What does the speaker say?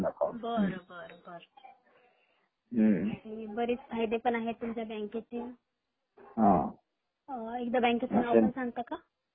बर बर बर बरेच फायदे पण आहेत तुमच्या बँकेचे एकदा तुमच्या बँकेचे नाव पण सांगता का ?